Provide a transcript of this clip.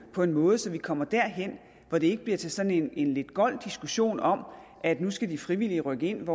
på en måde så vi kommer derhen hvor det ikke bliver til sådan en lidt gold diskussion om at nu skal de frivillige rykke ind